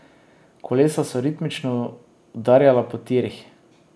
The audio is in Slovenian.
Kolesa so ritmično udarjala po tirih.